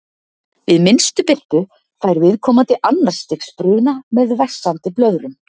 við minnstu birtu fær viðkomandi annars stigs bruna með vessandi blöðrum